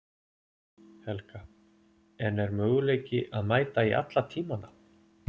Helga: En er möguleiki að mæta í alla tímana?